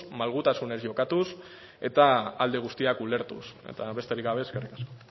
malgutasunez jokatuz eta alde guztiak ulertuz eta besterik gabe eskerrik asko